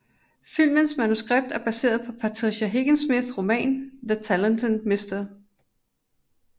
Filmens manuskript er baseret på Patricia Highsmiths roman The Talented Mr